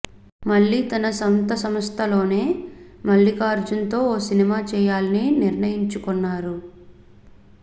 మళ్లీ తన సొంత సంస్థలోనే మల్లికార్జున్తో ఓ సినిమా చేయాలని నిర్ణయించుకొన్నారు